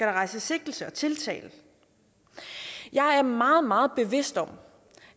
rejses sigtelse og tiltale jeg er meget meget bevidst om